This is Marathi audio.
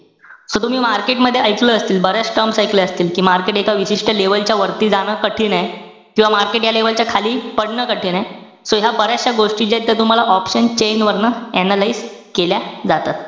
So तुम्ही market मध्ये एकलं असेल. बऱ्याच terms ऐकल्या असतील कि market एका विशिष्ट level च्या वरती जाणं कठीण आहे. किंवा market या level च्या खाली, पडणं कठीण आहे. So ह्या बऱ्यचश्या गोष्टी ज्या आहे त्या तुम्हाला option chain वरनं analyze केल्या जातात.